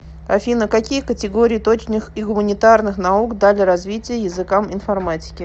афина какие категории точных и гуманитарных наук дали развитие языкам информатики